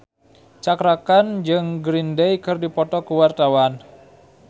Cakra Khan jeung Green Day keur dipoto ku wartawan